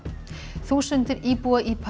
þúsundir íbúa í